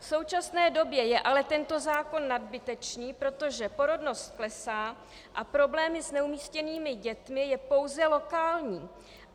V současné době je ale tento zákon nadbytečný, protože porodnost klesá a problém s neumístěnými dětmi je pouze lokální.